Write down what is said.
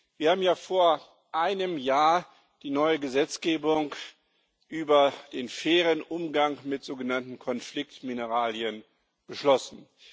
Wir haben ja vor einem Jahr die neue Gesetzgebung über den fairen Umgang mit sogenannten Konfliktmineralien beschlossen.